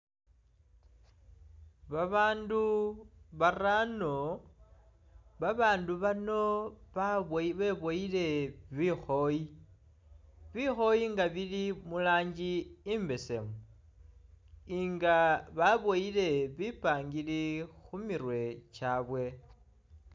Babandu baarano, babandu bano babili beboyile bikhoyi, bikhoyi nga bili murangi imbesemu nga baboyile bipangiri khumirwe kyabwe